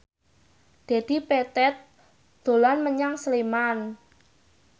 Dedi Petet dolan menyang Sleman